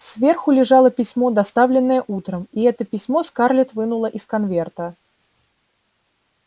сверху лежало письмо доставленное утром и это письмо скарлетт вынула из конверта